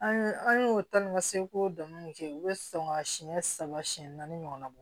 An ye an ye o ta ni ka segin k'o dɔnniw kɛ u bɛ sɔn ka siɲɛ saba siɲɛ naani ɲɔgɔnna bɔ